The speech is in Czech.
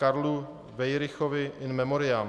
Karlu Weirichovi, in memoriam